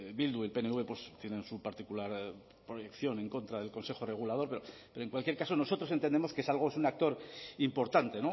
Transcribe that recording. bildu y pnv tienen su particular proyección en contra del consejo regulador pero en cualquier caso nosotros entendemos que es algo es un actor importante